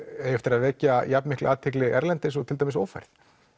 eigi eftir að vekja jafn mikla athygli erlendis og til dæmis ófærð